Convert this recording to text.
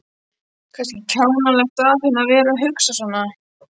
Kannski kjánalegt af henni að vera að hugsa svona.